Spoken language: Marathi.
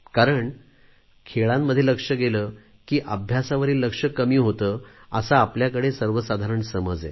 कारण खेळांमध्ये लक्ष गेले की अभ्यासावरील लक्ष कमी होते असा आपल्याकडे सर्वसाधारण समज आहे